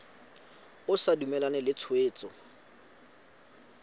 o sa dumalane le tshwetso